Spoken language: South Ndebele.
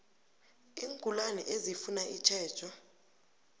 iingulani ezifuna itjhejo